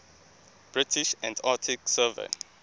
british antarctic survey